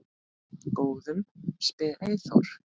Góðum? spyr Eyþór.